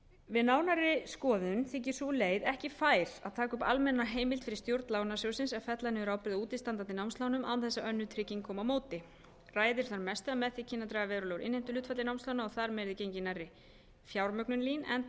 við nánari skoðun þykir sú leið ekki fær að taka upp almenna heimild fyrir stjórn lánasjóðsins að fella niður ábyrgð á útistandandi námslánum án þess að önnur trygging komi á móti ræður þar mestu að með því kynni að draga verulega úr innheimtuhlutfalli námslána og þar með yrði gengið nærri fjármögnun lín enda